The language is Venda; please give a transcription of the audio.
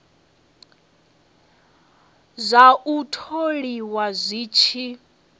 zwa u tholiwa zwi tshi